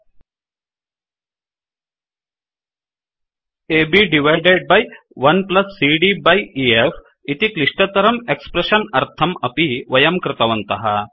AB divided by 1CD by EF AB divided by 1सीडी by EF इति क्लिष्टतरं expression अर्थं अपि वयं कृतवन्तः